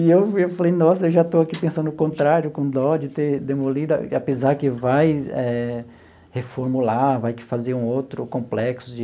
E eu eu falei, nossa, eu já estou aqui pensando o contrário, com dó, de ter demolido, apesar que vai eh reformular, vai que fazer um outro complexo de